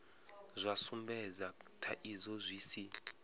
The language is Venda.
zwa sumbedza thaidzo zwi si